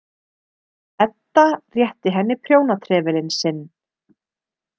Edda rétti henni prjónatrefilinn sinn.